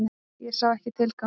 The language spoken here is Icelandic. Ég sá ekki tilganginn.